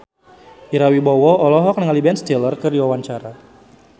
Ira Wibowo olohok ningali Ben Stiller keur diwawancara